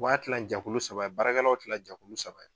w'a kilan jɛkulu saba baara kɛlaw kilan jɛkulu saba.